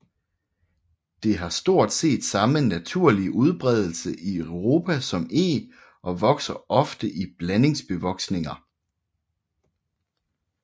Det har stort set samme naturlige udbredelse i Europa som eg og vokser ofte i blandingsbevoksninger